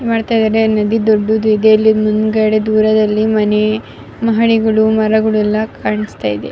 ಮಾಡ್ತಾ ಇದ್ದಾರೆ ಇಲ್ಲಿ ಮಹಡಿಗಳು ಮರಗಳು ಎಲ್ಲ ಕಾಣಿಸ್ತಾ ಇದೆ.